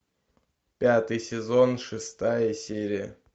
пятый сезон шестая серия